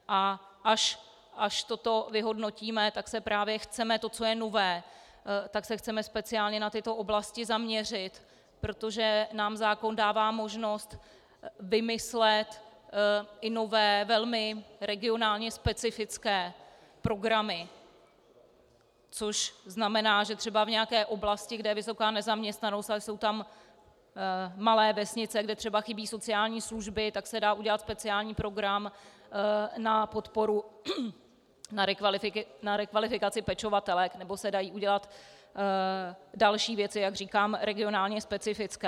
A až toto vyhodnotíme, tak se právě chceme, to, co je nové, tak se chceme speciálně na tyto oblasti zaměřit, protože nám zákon dává možnost vymyslet i nové, velmi regionálně specifické programy, což znamená, že třeba v nějaké oblasti, kde je vysoká nezaměstnanost, ale jsou tam malé vesnice, kde třeba chybí sociální služby, tak se dá udělat speciální program na podporu na rekvalifikaci pečovatelek, nebo se dají udělat další věci, jak říkám, regionálně specifické.